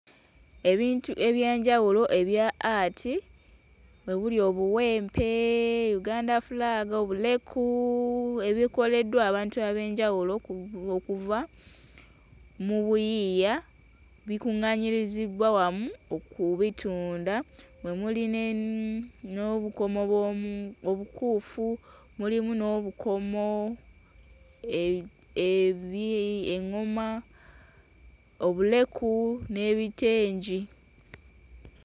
Ebintu eby'enjawulo ebya art omuli obuwempe, Uganda Fulaaga obuleku, ebikoleddwa abantu ab'enjawulo okuva mu buyiiya bikuŋŋaanyirizibbwa wamu okubitunda omuli ne n'obukomo bw'omu obukuufu mulimu n'obukomo ebi... eŋŋoma obuleku n'ebitengi.